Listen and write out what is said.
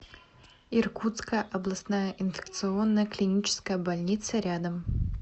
иркутская областная инфекционная клиническая больница рядом